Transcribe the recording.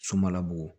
Somalabugu